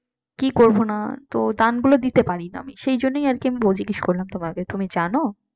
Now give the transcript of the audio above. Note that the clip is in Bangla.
কি করবো না তো দানগুলো দিতে পারিনা আমি সেই জন্যেই আর কি জিজ্ঞেস করলাম তোমাকে তুমি জানো?